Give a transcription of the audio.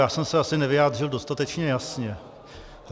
Já jsem se asi nevyjádřil dostatečně jasně.